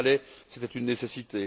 Il le fallait, c'était une nécessité.